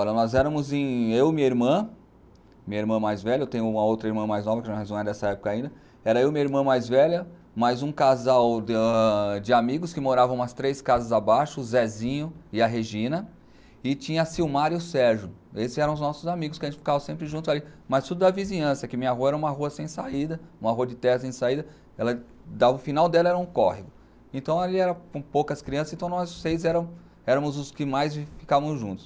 Olha, nós éramos em, eu e minha irmã, minha irmã mais velha, eu tenho uma outra irmã mais nova, que não é dessa época ainda, era eu e minha irmã mais velha, mais um casal de amigos que moravam umas três casas abaixo, o Zezinho e a Regina, e tinha a Silmara e o Sérgio, esses eram os nossos amigos, que a gente ficava sempre juntos ali, mas tudo da vizinhança, que minha rua era uma rua sem saída, uma rua de terra sem saída, dava o final dela era um córrego, então ali era com poucas crianças, então nós seis éramos os que mais ficávamos juntos.